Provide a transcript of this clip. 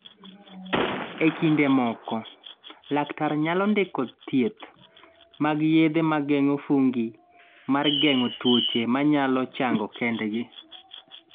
E kinde moko, laktar nyalo ndiko thieth mag yethe mageng'o fungi mar geng'o tuoche manyalo chango kendgi.